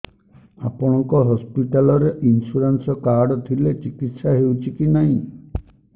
ଆପଣଙ୍କ ହସ୍ପିଟାଲ ରେ insurance card ଥିଲେ ଚିକିତ୍ସା ହେଉଛି କି ନାଇଁ